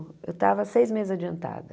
Eu estava seis meses adiantada.